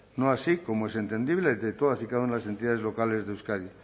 no así como es entendible de todas y cada una de las entidades locales de euskadi